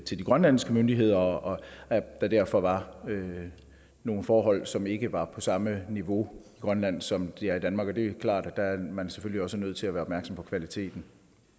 til de grønlandske myndigheder og der derfor var nogle forhold som ikke var på samme niveau i grønland som de er i danmark og det er klart at der er man selvfølgelig også nødt til at være opmærksom på kvaliteten